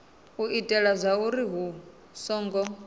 u itela zwauri hu songo